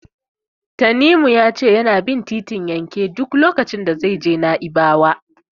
Tanimu ya ce yana bin titin yanke duk lokacin da zai je Na'ibawa.